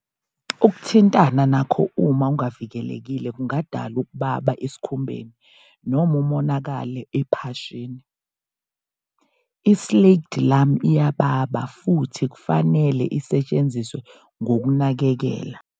Ukuthintana nakho uma ungavikelekile kungadala ukubaba esikhumbeni noma umonakalo ephashini. I-Slaked lime iyababa futhi kufanele isetshenziswe ngokunakelela.